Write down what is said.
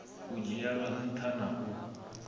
u dzhielwa nṱha na u